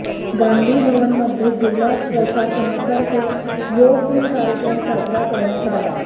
गांधी भवनमध्ये जिल्हा प्रशासनातर्फे योगदिन कार्यक्रम साजरा करण्यात आला